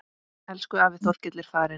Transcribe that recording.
Elsku afi Þorkell er farinn.